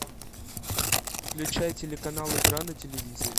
включай телеканал игра на телевизоре